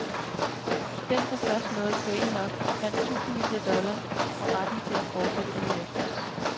Den, som først nåede point nok, vandt tusindvis af dollar og retten til at fortsætte ugen efter.